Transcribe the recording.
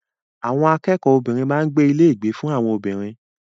Àwọn akẹ́kọ̀ọ́ obìnrin máa ń gbé ní ilé ìgbé fún àwọn obìnrin.